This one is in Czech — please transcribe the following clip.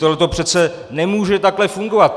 Tohle přece nemůže takhle fungovat.